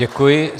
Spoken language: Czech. Děkuji.